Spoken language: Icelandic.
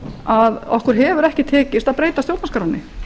að okkur hefur ekki tekist að breyta stjórnarskránni